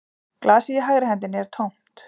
Glasið í hægri hendinni er tómt